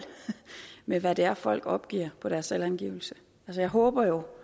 med hvad det er folk opgiver på deres selvangivelse jeg håber jo